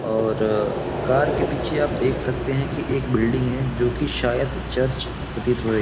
और कार के पीछे आप देख सकते हैं कि एक बिल्डिंग है जोकि शायद चर्च प्रतीत हो रही --